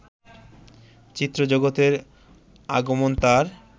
চিত্র জগতে আগমন তার